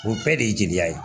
O bɛɛ de ye jeliya ye